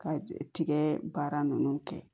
Ka tigɛ baara ninnu kɛ